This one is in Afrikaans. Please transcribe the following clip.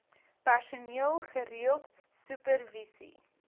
personeel gereeld supervisie